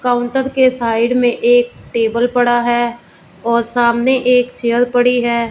Counter के side में एक टेबल पड़ा है और सामने एक चेयर पड़ी है।